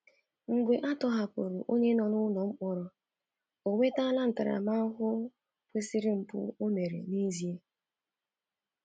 Mgbe a tọhapụrụ onye nọ n'mkpọrọ, O nwetala ntaramahụhụ kwesịrị mpụ o mere n'ezie?